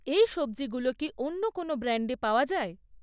এই সব্জিগুলো কি অন্য কোনও ব্র্যান্ডে পাওয়া যায়?